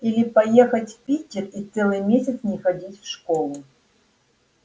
или поехать в питер и целый месяц не ходить в школу